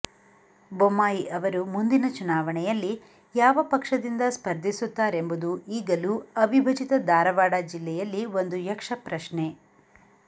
ಬೊಮ್ಮಾಯಿ ಅವರು ಮುಂದಿನ ಚುನಾವಣೆಯಲ್ಲಿ ಯಾವ ಪಕ್ಷದಿಂದ ಸ್ಪರ್ಧಿಸುತ್ತಾರೆಂಬುದು ಈಗಲೂ ಅವಿಭಜಿತ ಧಾರವಾಡ ಜಿಲ್ಲೆಯಲ್ಲಿ ಒಂದು ಯಕ್ಷಪ್ರಶ್ನೆ